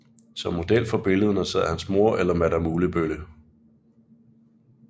Som model for billederne sad hans mor eller madam Ullebølle